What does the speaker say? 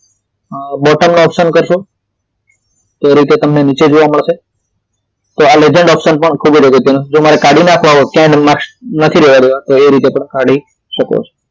અ bottom નો option કરશો તે રીતે તમને નીચે જોવા મળશે તો આ legend option પણ ખૂબ જ અગત્યનો છે જો મારે કાઢી નાખવો હોય ક્યાંય માર્કસ નથી રેવા દેવા તો એ રીતે પણ કાઢી શકો છો